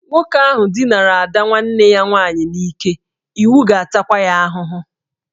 Nwoke ahụ dinara ada nwanne ya nwaanyị n'ike, iwu ga-atakwa ya ahụhụ